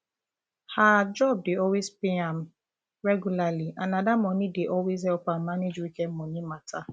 her um job dey always pay am um regularly and na that money dey always help am manage weekend money um matter